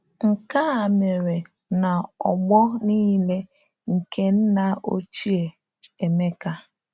Nke a mere na ọgbọ nile nke nna ochie Emeka.